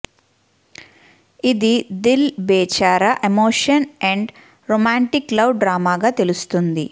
ఇక Dil Bechara emotion and romantic love డ్రామాగా తెలుస్తుంది